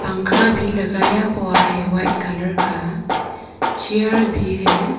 पंखा भी लगाया हुआ है वाइट कलर का चेयर भी है।